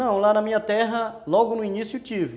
Não, lá na minha terra, logo no início tive.